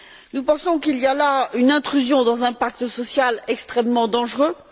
Nous pensons qu'il y a là une intrusion dans un pacte social extrêmement dangereuse.